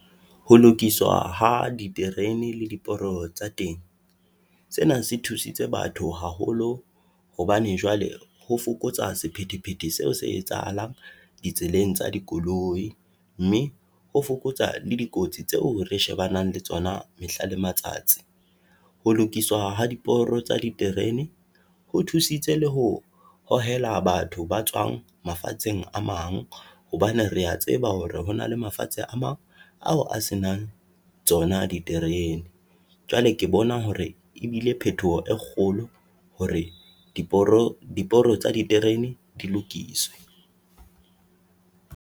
Ho lokiswa ha diterene le ditoro tsa teng, sena se thusitse batho haholo hobane jwale ho fokotsa sephethephethe seo se etsahalang di tseleng tsa dikoloi, mme ho fokotsa le dikotsi tseo re shebanang le tsona mehla le matsatsi. Ho lokiswa ha diporo tsa diterene ho thusitse le ho hohela batho ba tswang mafatsheng a mang, hobane re ya tseba hore hona le mafatshe a mang ao a se nang tsona diterene. Jwale ke bona hore ebile phetoho e kgolo hore diporo tsa diterene dilokiswe.